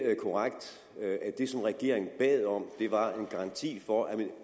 korrekt at det som regeringen bad om var en garanti for at